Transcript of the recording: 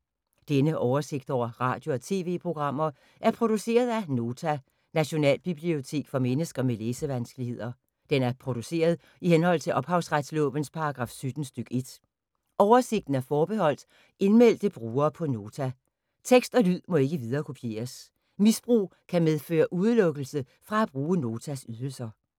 Denne oversigt over radio og TV-programmer er produceret af Nota, Nationalbibliotek for mennesker med læsevanskeligheder. Den er produceret i henhold til ophavsretslovens paragraf 17 stk. 1. Oversigten er forbeholdt indmeldte brugere på Nota. Tekst og lyd må ikke viderekopieres. Misbrug kan medføre udelukkelse fra at bruge Notas ydelser.